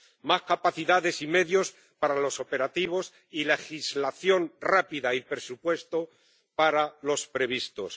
Más capacidades y medios para los operativos y legislación rápida y presupuesto para los previstos.